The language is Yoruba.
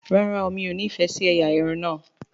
ràrá óò mi'o ní ní ìfẹ sí ẹyà Irun na.